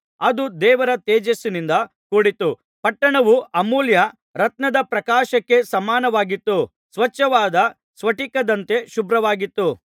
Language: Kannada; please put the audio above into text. ಅದು ದೇವರ ತೇಜಸ್ಸಿನಿಂದ ಕೂಡಿತ್ತು ಪಟ್ಟಣವು ಅಮೂಲ್ಯ ರತ್ನದ ಪ್ರಕಾಶಕ್ಕೆ ಸಮಾನವಾಗಿತ್ತು ಸ್ವಚ್ಛವಾದ ಸ್ಫಟಿಕದಂತೆ ಶುಭ್ರವಾಗಿತ್ತು